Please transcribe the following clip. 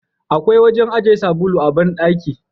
Akwai wajen aje sabulu a bandaki.